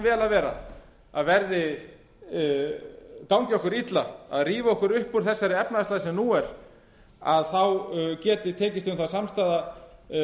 vel að vera að gangi okkur illa að rífa okkur upp úr þessari efnahagslægð sem nú er þá geti tekist um það samstaða